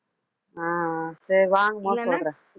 அஹ் அஹ் சரி வாங்கும் பொது சொல்றேன்